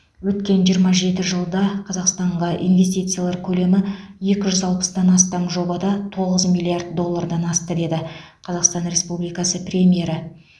өткен жиырма жеті жылда қазақстанға инвестициялар көлемі екі жүз алпыстан астам жобада тоғыз миллиард доллардан асты деді қазақстан республикасы премьері